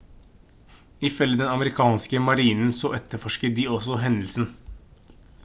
ifølge den amerikanske marinen så etterforsket de også hendelsen